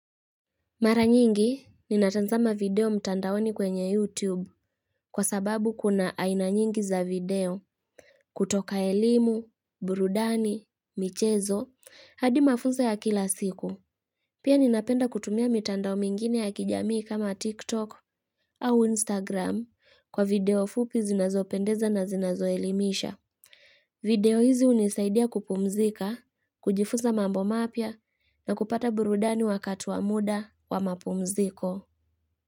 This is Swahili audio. Mara nyingi, ninatazama video mtandaoni kwenye YouTube kwa sababu kuna aina nyingi za video kutoka elimu, burudani, michezo, hadi mafunzo ya kila siku. Pia ninapenda kutumia mitandao mingine ya kijamii kama TikTok au Instagram kwa video fupi zinazopendeza na zinazoelimisha. Video hizi hunisaidia kupumzika, kujifuza mambo mapya na kupata burudani wakati wa muda wa mapumziko.